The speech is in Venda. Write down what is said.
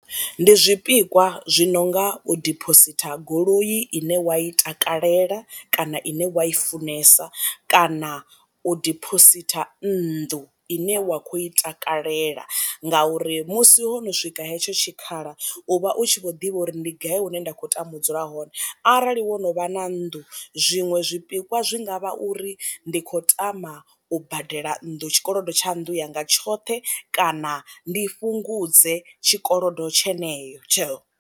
Ndi zwipikwa zwi nonga u dipositha goloi ine wa i takalela kana ine wa i funesa kana u dibositha nnḓu ine wa kho i takalela, ngauri musi ho no swika hetsho tshikhala u vha u tshi vho ḓivha uri ndi gai hune nda khou tama u dzula hone, arali wo no vha na nnḓu zwiṅwe zwipikwa zwi ngavha uri ndi khou tama u badela nnḓu tshikolodo tsha nndu yanga tshoṱhe kana ndi fhungudze tshikolodo tsheneye tsho.